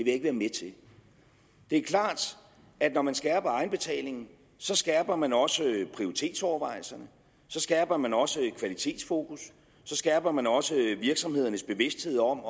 ikke være med til det er klart at når man skærper egenbetalingen så skærper man også prioritetsovervejelserne så skærper man også kvalitetsfokus så skærper man også virksomhedernes bevidsthed om